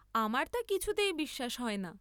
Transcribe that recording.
আমার তা কিছুতেই বিশ্বাস হয় না।